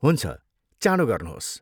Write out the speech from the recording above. हुन्छ, चाँडो गर्नुहोस्।